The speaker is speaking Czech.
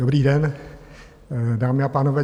Dobrý den, dámy a pánové.